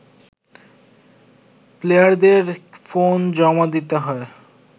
প্লেয়ারদের ফোন জমা দিতে হয়